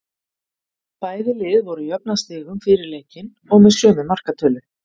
Bæði lið voru jöfn að stigum fyrir leikinn og með sömu markatölu.